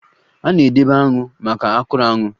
A na-edebe aṅụ na akwuru aṅu